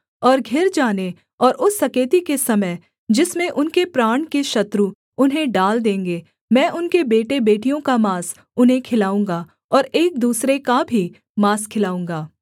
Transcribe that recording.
और घिर जाने और उस सकेती के समय जिसमें उनके प्राण के शत्रु उन्हें डाल देंगे मैं उनके बेटेबेटियों का माँस उन्हें खिलाऊँगा और एक दूसरे का भी माँस खिलाऊँगा